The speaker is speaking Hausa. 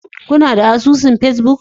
Kuna da asusun Facebook